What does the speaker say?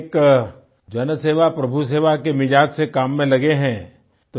आप तो बिल्कुल एक जनसेवा प्रभुसेवा के मिजाज़ से काम में लगे हैं